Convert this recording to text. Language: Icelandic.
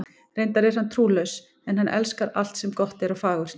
Reyndar er hann trúlaus, en hann elskar alt sem gott er og fagurt.